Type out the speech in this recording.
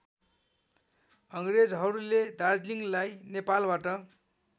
अङ्ग्रेजहरूले दार्जीलिङलाई नेपालबाट